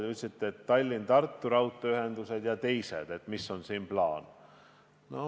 Te küsisite Tallinna–Tartu ja teiste lõikude raudteeühenduse kohta, et mis on siin plaan.